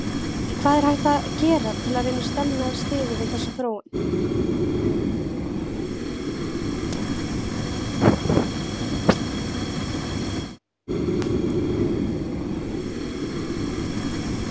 En hvað er hægt að gera til að reyna stemma stigu við þessari þróun?